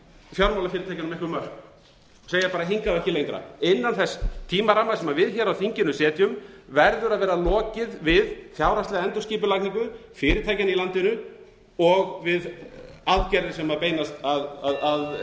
fjármálafyrirtækjunum einhver mörk segja bara hingað og ekki lengra innan þess tímaramma sem við hér á þinginu setjum verður að vera lokið við fjárhagslega endurskipulagningu fyrirtækjanna í landinu og við aðgerðir sem beinast að